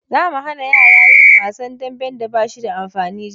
Za mu hana yara yin wasan dambe da ba shi da amfani jibi.